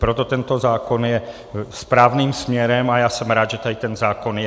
Proto tento zákon jde správným směrem a já jsem rád, že tady ten zákon je.